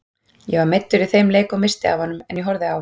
Ég var meiddur í þeim leik og missti af honum en ég horfði á.